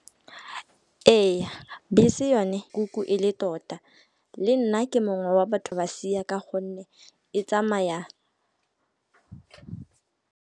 Ee, bese yone kuku e le tota le nna ke mongwe wa batho ba sia ka gonne e tsamaya.